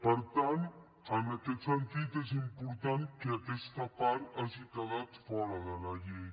per tant en aquest sentit és important que aquesta part hagi quedat fora de la llei